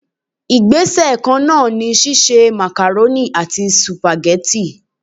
Igbese kan náà ni sise macaroni àti supageti.